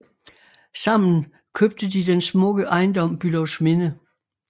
Sammen købte de den smukke ejendom Bülowsminde